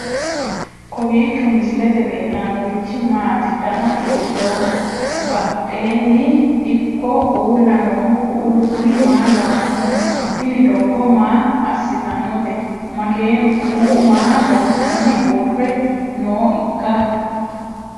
kowiicho misilete leellanorichi maati ? dana hiittooho ?abadhhenni ikko uulla noohu kuulu kuni maa lawannoho? tini doogo maa assitannote makeenu kuu'u maa loossanni uurre nooiikka